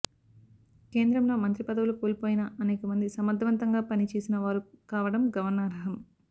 కేంద్రంలో మంత్రి పదవులు కోల్పోయిన అనేకమంది సమర్ధవంతంగా పనిచేసిన వారు కావడం గమనార్హం